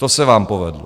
To se vám povedlo.